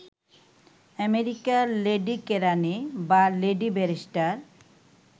আমেরিকায় লেডীকেরাণী বা লেডীব্যারিষ্টার